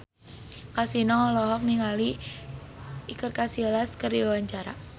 Kasino olohok ningali Iker Casillas keur diwawancara